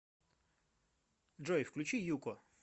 джой включи юко